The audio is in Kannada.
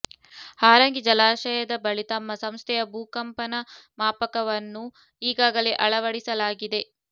ಹಾರಂಗಿ ಜಲಾಶಯದ ಬಳಿ ತಮ್ಮ ಸಂಸ್ಥೆಯ ಭೂಕಂಪನ ಮಾಪಕವನ್ನು ಈಗಾಗಲೇ ಅಳವಡಿಸಲಾಗಿದೆ